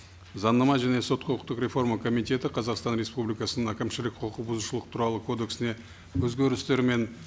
заңнама және сот құқықтық реформа комитеті қазақстан республикасының әкімшілік құқық бұзушылық туралы кодексіне өзгерістер мен